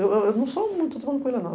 Eu não sou muito tranquila, não.